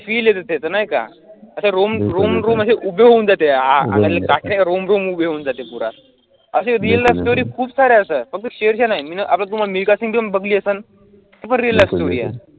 feel येते नाही का रोम रोम म्हणजे उभे राहून जाते. अंगाला काटे रोम रोम उभे होऊन जाते पुरा असे real life story खूप साऱ्या आहेत sir फक्त शेरशाह नाही, आता तुम्ही मिल्का सिंग तुम्ही बघली असलं, ती पण real life story आहे.